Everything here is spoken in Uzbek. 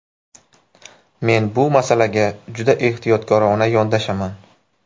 Men bu masalaga juda ehtiyotkorona yondashaman.